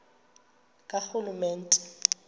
karhulumente